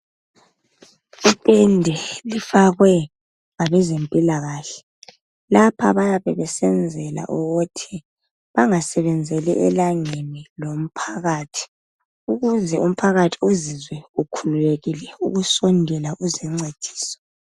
Itende lifakwe ngabezempilakahle lapha bayabe besenzela ukuthi bangasebenzeli elangeni lomphakathi ukuze umphakathi uzizwe ukhululekile ukusondela kuzincediso.